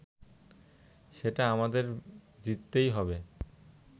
সেটা আমাদের জিততেই হবে